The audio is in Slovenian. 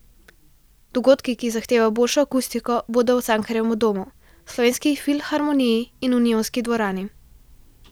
Dogodki, ki zahtevajo boljšo akustiko, bodo v Cankarjevem domu, Slovenski filharmoniji in Unionski dvorani.